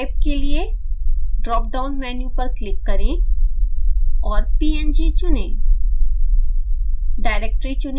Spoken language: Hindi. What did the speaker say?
files of type के लिए ड्रापडाउन मेन्यु पर क्लिक करें और png चुनें